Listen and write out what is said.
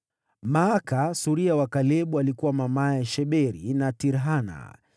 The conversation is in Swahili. Maaka suria wa Kalebu alikuwa mamaye Sheberi na Tirhana.